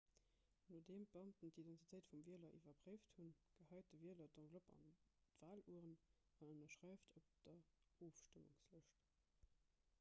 nodeem beamten d'identitéit vum wieler iwwerpréift hunn gehäit de wieler d'enveloppe an d'walurn an ënnerschreift op der ofstëmmungslëscht